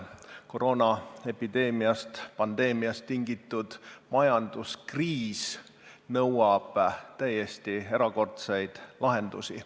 Koroonaepideemiast, -pandeemiast tingitud majanduskriis nõuab täiesti erakordseid lahendusi.